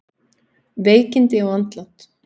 Veikindi og andlát